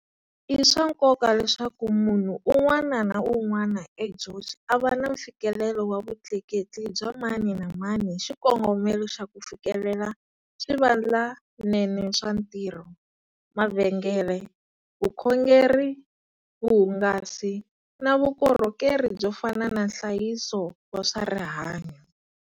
I swa nkoka leswaku munhu un'wana na un'wana eGeorge a va na mfikelelo wa vutleketli bya mani na mani hi xikongomelo xa ku fikelela swivandlanene swa ntirho, mavhengele, vukhongeri, vuhungasi na vukorhokeri byo fana na nhlayiso wa swa rihanyu.